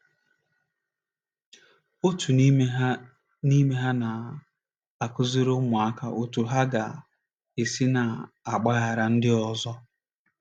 Otu n’ime ha na n’ime ha na - akụziri ụmụaka otú ha ga - esi na - agbaghara ndị ọzọ.